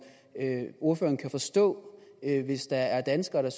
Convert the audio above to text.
ordføreren kan forstå hvis der er danskere der